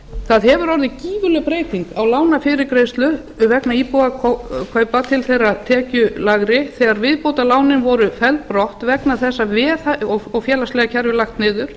það hefur orðið gífurleg breyting á lánafyrirgreiðslu vegna íbúðakaupa til þeirra tekjulægri þegar viðbótarlánin voru felld brott og félagslega kerfið lagt niður